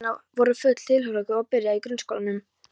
Mörg barnanna voru full tilhlökkunar að byrja í grunnskólanum.